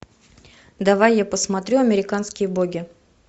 давай я посмотрю американские боги